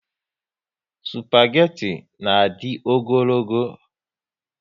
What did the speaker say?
Spageti na adi ogologo